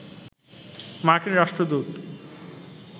মার্কিন রাষ্ট্রদূত